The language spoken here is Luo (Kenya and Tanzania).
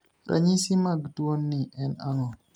Ranyisi mag tuio ni en ang'o?